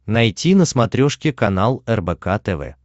найти на смотрешке канал рбк тв